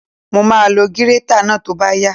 Mo máa lo gírétà náà tó bá yá